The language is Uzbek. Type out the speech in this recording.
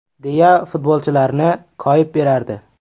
!” deya futbolchilarni koyib berardi.